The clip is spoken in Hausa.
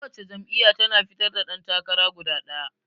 Ko wace jam'iyya tana fitar da ɗan takara guda ɗaya.